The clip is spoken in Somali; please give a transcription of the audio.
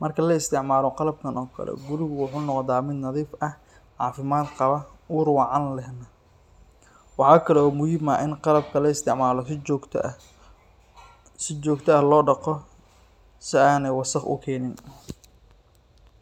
marki laisticmalo qalabkan oo kale guriga wuxu nogda mid nadif ah oo cafimad qawaa, ur wacan leh, waxa kao muxiim ah in qabka loisticmalo si jogta ah, si jogta ah lodago, si ayni wasaq ukenin.